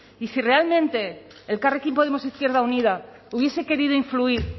y si realmente elkarrekin podemos izquierda unida hubiese querido influir